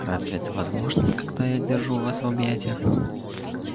разве это возможно когда я держу вас в объятиях